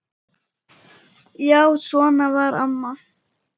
Já, svona var amma.